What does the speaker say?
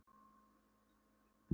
Bjarni að sjá í fingur við okkur.